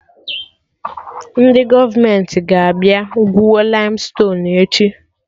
Ndị gọọmenti ga-abịa gwuo laimstonuu echi